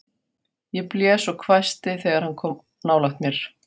Ég blés og hvæsti þegar hann kom nálægt mér.